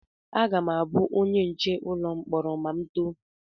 Aga m abụ onye nche ụlọ mkpọrọ ma m too